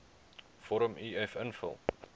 vorm uf invul